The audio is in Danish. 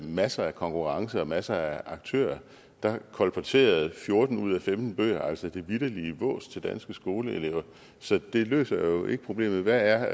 masser af konkurrence og masser af aktører kolporterede fjorten ud af femten bøger altså det vitterlige vås til danske skoleelever så det løser jo ikke problemet hvad er